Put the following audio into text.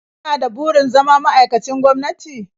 Kana da burin zama ma'aikacin gwamnati?